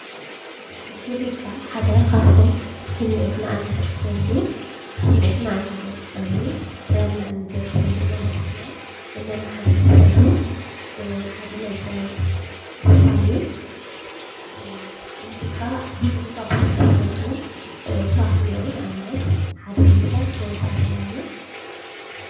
ሙዚቃ ሓደ ካብቶም ስምዒትና እነሕድሰሉ፣ ስምዒትና እንገልፀሉ፣ ጥበብና እንገልፀሉ፣ መልእኽትና እነመሓላልፈሉ ሓደ ናይ ጥበብ ክፋል እዩ፡፡ ብሙዚቃ ብሑሕ ዝፍለጡ ሰባት እኔዉ፡፡ ንኣብነት ሓደ ንምውሳድ ኪሮስ ኣለማዮህ እዩ፡፡